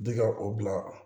Bi ka o bila